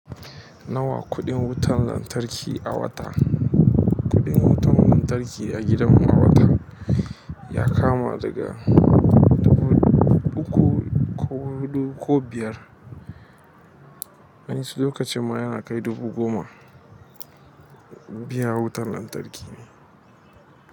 Nawa kuɗin wutar lantarki a wata? Kuɗin wutar lantarki a gidanmu a wata ya kama daga dubu uku ko biyar, wani lokacin ma yana kai dubu goma biyar wutar lantarki ne.